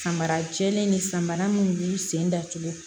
Samara jɛlen ni samara minnu b'u sen datugu